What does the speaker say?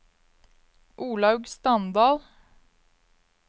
Olaug Standal